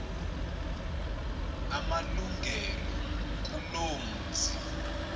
amalungelo kuloo mzi